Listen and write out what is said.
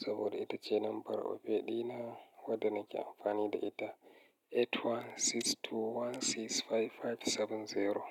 saboda ita ce lambar opay ɗina wadda na ke amfani da ita 8162165570.